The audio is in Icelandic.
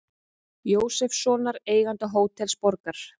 Jósefssonar, eiganda Hótels Borgar.